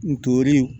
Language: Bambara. Ntorin